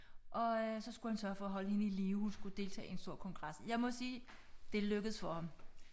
Og øh så skulle han sørge for at holde hende i live hun skulle deltage i en stor kongres jeg må sige det lykkedes for ham